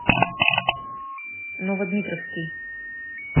новодмитровский